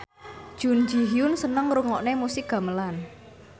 Jun Ji Hyun seneng ngrungokne musik gamelan